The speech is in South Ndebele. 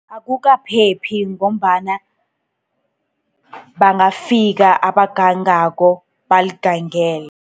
Akukaphephi ngombana bangafika abagangako, baligangele.